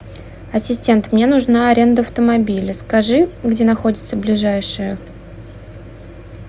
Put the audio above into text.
ассистент мне нужна аренда автомобиля скажи где находится ближайшая